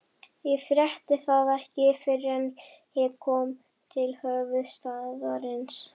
Ég frétti það ekki fyrr en ég kom til höfuðstaðarins.